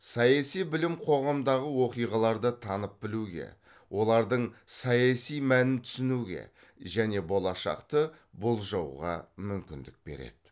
саяси білім қоғамдағы оқиғаларды танып білуге олардың саяси мәнін түсінуге және болашақты болжауға мүмкіндік береді